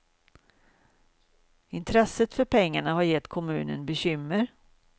Intresset för pengarna har gett kommunen bekymmer.